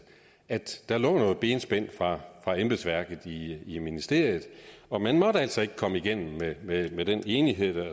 at der lå noget benspænd fra embedsværket i ministeriet og man måtte altså ikke komme igennem med den enighed